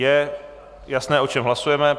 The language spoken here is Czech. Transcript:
Je jasné, o čem hlasujeme?